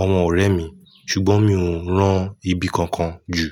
àwọn ọ̀rẹ́ mi. Ṣùgbọ́n mi ò ń rán ibi kankan jù.